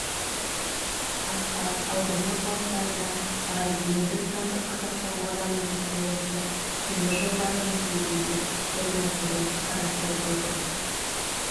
басқа аудан орталықтарында бар енді сандық қазақстан бағдарламасының аясында темір жолдарының жиегінде орнатуды қарастырып жатырмыз